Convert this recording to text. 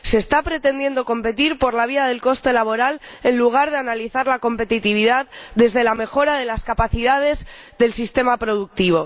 Se está pretendiendo competir por la vía del coste laboral, en lugar de analizar la competitividad desde la mejora de las capacidades del sistema productivo.